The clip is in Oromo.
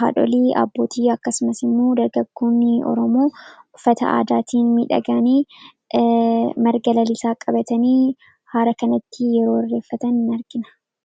haadholii abbootii akkasumasimmoo dargaggoonni oromoo uffata aadaatiin midhagaanii marga lalisaa qabatanii hara kanatti yeroo irreeffatan argina.